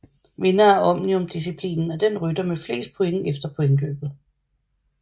Vinder af Omnium disciplinen er den rytter med flest points efter pointløbet